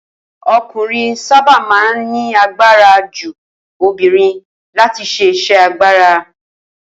O̩kùnrin sábà máa ń ní agbara ju obìnrin láti s̩e is̩é̩ agbára